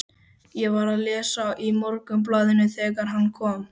Ég var að lesa í Morgunblaðinu þegar hann kom.